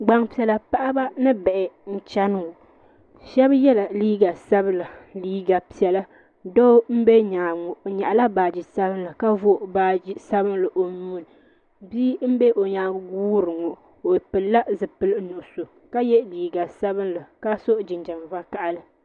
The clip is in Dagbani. Gbaŋ piɛlla paɣaba bi bihi n chɛni ŋɔ Shɛba yela liiga sabila liiga piɛlla doo nbɛ yɛanga ŋɔ o yɛɣi la baaji sabinli ka vori baaji sabinli o nuu ni bia n bɛ o yɛanga n guuri ŋɔ o pili la zupiligu nuɣiso ka ye liiga sabinli ka so jinjam vakahali.